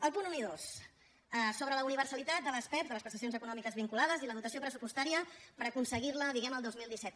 els punts un i dos sobre la universalitat de les pevs de les prestacions econòmiques vinculades i la dotació pressupostària per aconseguir la diguem ne el dos mil disset